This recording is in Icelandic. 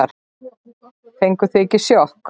Fenguð þið ekki sjokk?